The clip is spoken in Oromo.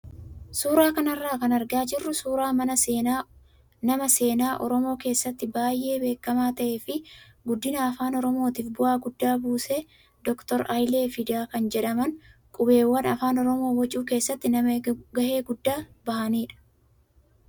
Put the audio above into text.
Suuraa kanarra kan argaa jirru suuraa nama seenaa oromoo keessatti baay'ee beekamaa ta'ee fi guddina afaan oromootiif bu'aa guddaa buuse doktor Hayilee Fidaa kan jedhaman qubeewwan afaan oromoo bocuu keessatti nama gahee guddaa bahanidha.